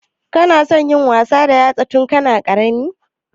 Kana son yin wasa da 'yartsana tun kana ƙarami?